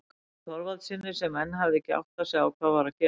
Jóni Þorvaldssyni sem enn hafði ekki áttað sig á hvað var að gerast.